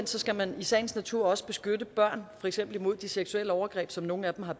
skal man i sagens natur også beskytte børn for eksempel imod de seksuelle overgreb som nogle af dem har